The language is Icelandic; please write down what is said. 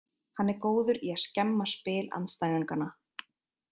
Hann er góður í að skemma spil andstæðinganna.